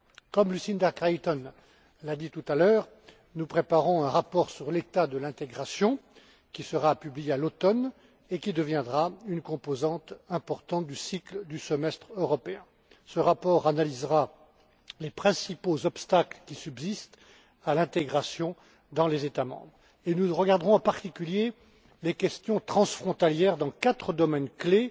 Comme Lucinda Creighton l'a dit tout à l'heure, nous préparons un rapport sur l'état de l'intégration, qui sera publié à l'automne et qui deviendra une composante importante du cycle du semestre européen. Ce rapport analysera les principaux obstacles à l'intégration qui subsistent dans les États membres et nous regarderons en particulier les questions transfrontalières dans quatre domaines clés